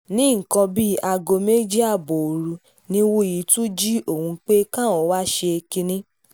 ní nǹkan bíi aago méjì ààbọ̀ òru ni wúyì tún jí òun pé káwọn tún wáá ṣe kinní